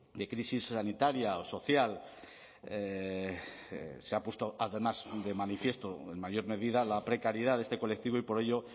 de crisis sanitaria o social se ha puesto además de manifiesto en mayor medida la precariedad de este colectivo y por ello